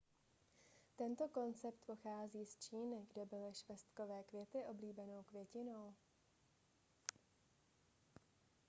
tento koncept pochází z číny kde byly švestkové květy oblíbenou květinou